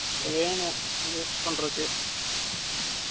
வேணும், waste பண்றதுக்கு